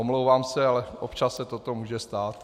Omlouvám se, ale občas se to může stát.